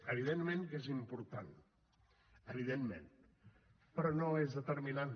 evidentment que és important evidentment però no és determinant